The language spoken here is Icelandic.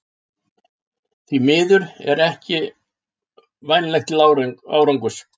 Því miður er það ekki vænlegt til árangurs.